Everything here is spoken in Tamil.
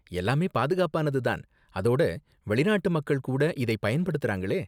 எல்லாமே பாதுகாப்பானது தான், அதோட வெளிநாட்டு மக்கள் கூட இதை பயன்படுத்தறாங்களே.